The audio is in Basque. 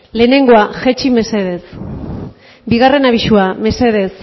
lehenengoa jaitsi mesedez bigarren abisua mesedez